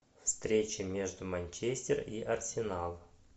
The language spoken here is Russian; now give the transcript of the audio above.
встреча между манчестер и арсенал